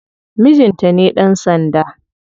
Mijinta ne dan sanda.